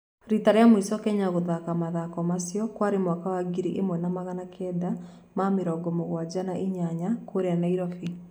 Rita rĩa mũico Kenya gũthaka mathako macio kwarĩ mwaka wa ngiri ĩmwe na magana kenda ma mĩrongo mũgwaja na inyanya kũrĩa Nairobi.